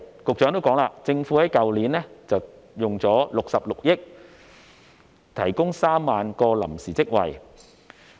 局長亦提到，政府在去年花了66億元提供3萬個臨時職位。